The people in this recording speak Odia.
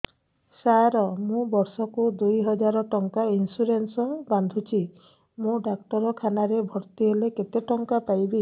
ସାର ମୁ ବର୍ଷ କୁ ଦୁଇ ହଜାର ଟଙ୍କା ଇନ୍ସୁରେନ୍ସ ବାନ୍ଧୁଛି ମୁ ଡାକ୍ତରଖାନା ରେ ଭର୍ତ୍ତିହେଲେ କେତେଟଙ୍କା ପାଇବି